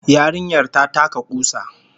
Yarinyar ta taka kusa